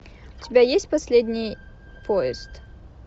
у тебя есть последний поезд